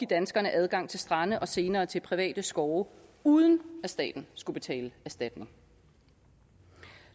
danskerne adgang til strande og senere til private skove uden at staten skulle betale erstatning